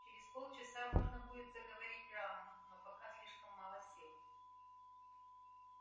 через полчаса можно будет заговорить рану но пока слишком мало сил